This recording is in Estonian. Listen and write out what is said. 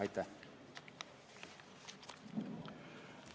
Aitäh!